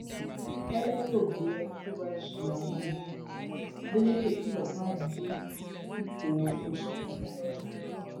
kẹlẹ yóò gbé ẹni tó bá ṣí agbára adeleke kìlọ fáwọn tó dipò òṣèlú mú lọ́ṣun